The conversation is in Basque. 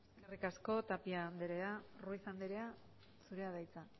eskerrik asko tapia andrea ruiz andrea zurea da hitza